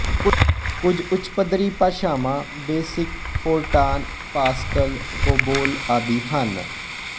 ਕੁਝ ਉੱਚਪੱਧਰੀ ਭਾਸ਼ਾਵਾਂ ਬੇਸਿਕ ਫੋਰਟਾਨ ਪਾਸਕਲ ਕੋਬੋਲ ਆਦਿ ਹਨ